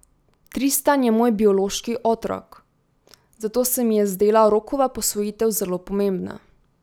Tristan je moj biološki otrok, zato se mi je zdela Rokova posvojitev zelo pomembna.